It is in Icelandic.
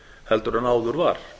heldur en áður var